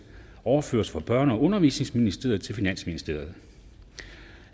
overføres fra børne og undervisningsministeren til finansministeren